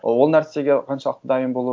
ол нәрсеге қаншалықты дайын болу